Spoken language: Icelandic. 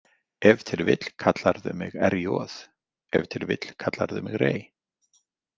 Ef til vill kallarðu mig RJ, ef til vill kallarðu mig Ray.